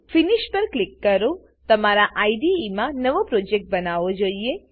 finish પર click કરો તમારા આઈડીઈમાં નવો પ્રોજેક્ટ બનાવો જોઈએ